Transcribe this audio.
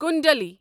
کُنٛدلِی